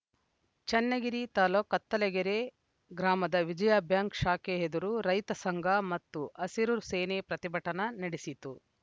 ಚನ್ನಗಿರಿ ತಾಲೂಕ್ ಕತ್ತಲಗೆರೆ ಗ್ರಾಮದ ವಿಜಯಾ ಬ್ಯಾಂಕ್‌ ಶಾಖೆ ಎದುರು ರೈತ ಸಂಘ ಮತ್ತ ಹಸಿರು ಸೇನೆ ಪ್ರತಿಭಟನೆ ನಡೆಸಿತು